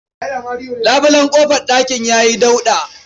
Labulen ƙofar ɗakin ya yi dauɗa.